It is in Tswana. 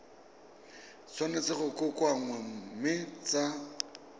tshwanetse go kokoanngwa mme tsa